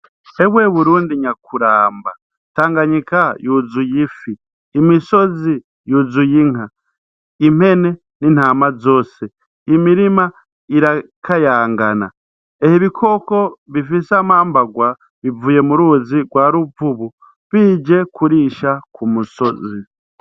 Serwe burundi nyakuramba tanganyika yuzuye ifi imisozi yuzuye inka impene n'intama zose imirima irakayangana ehe ibikoko bifise amambarwa bivuye mu ruzi rwa ruvubu bije kurisha ku musozi.